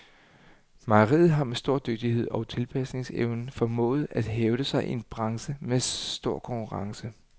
Mejeriet har med stor dygtighed og tilpasningsevne formået at hævde sig i en branche med stor konkurrence.